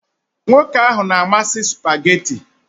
Nwoke ahụ na-amasị spugeetí